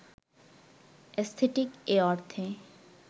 aesthetic এ অর্থে